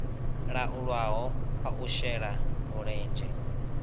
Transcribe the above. laulwaho a u shela mulenzhe